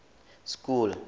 school